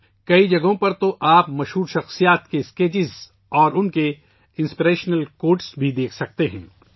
بہت سی جگہوں پر آپ مشہور لوگوں کے خاکے اور ان کے متاثر کن اقتباسات بھی دیکھ سکتے ہیں